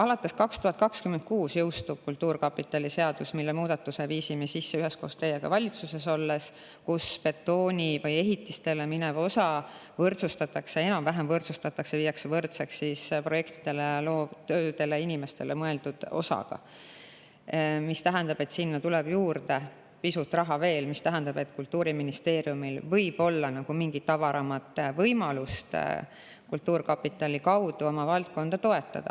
Alates 2026. aastast jõustub kultuurkapitali seadus, kuhu me muudatuse viisime sisse üheskoos teiega valitsuses olles: betooni või ehitistele minev osa enam-vähem võrdsustatakse projektidele, loovtöödele, inimestele mõeldud osaga, mis tähendab, et sinna tuleb veel pisut raha juurde ja Kultuuriministeeriumil võib olla mingi avaram võimalus kultuurkapitali kaudu oma valdkonda toetada.